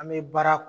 An bɛ baara